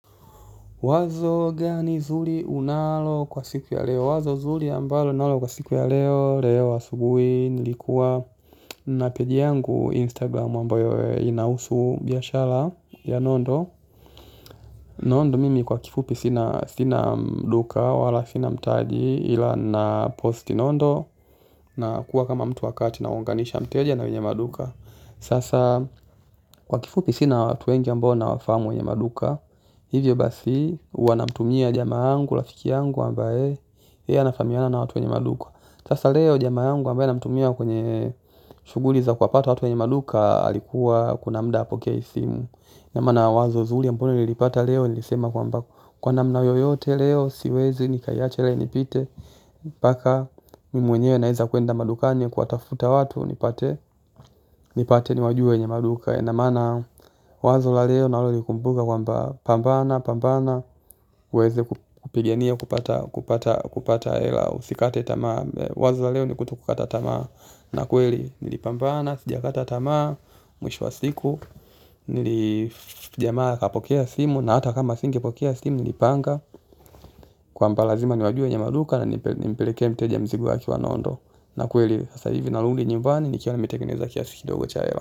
Wazo gani zuri unalo kwa siku ya leo wazo zuri ambalo ninalo kwa siku ya leo leo asubuhi nilikuwa na peji yangu instagram ambayo inahusu biashara ya nondo. Nondo mimi kwa kifupi sina duka wala sina mtaji ila naposti nondo na kuwa kama mtu wakati na naunganisha mteja na wenye maduka sasa kwa kifupi sina watu wengi ambao nawafahamu wenye maduka. Hivyo basi huwa namtumia jamaa wangu, rafiki yangu ambaye yeye anafahamiana na watu wenye maduka sasa leo jamaa yangu ambaye namtumia kwenye shughuli za kuwapata watu wenye maduka alikuwa kuna muda hapokei simu. Namana wazo zuri ambalo nililipata leo. Nilisema kwamba kwa namna yoyote leo siwezi nikaiacha ile inipite mpaka mimi mwenyewe naeza kuenda madukani kuwatafuta watu nipate nipate niwajue wenye maduka ina maana wazo la leo ninalolikumbuka kwamba pambana pambana uweze kupigania kupata hela usikate tamaa wazo la leo ni kutokukata tamaa na kweli nilipambana sijakata tamaa mwisho wa siku jamaa akapokea simu na hata kama asingepokea simu nilipanga kwamba lazima niwajue wenye maduka na nimpelekee mteja mzigo wake wa nondo na kweli sasa hivi narudi nyumbani nikiwa nimetengeneza kiasi kidogo cha hela.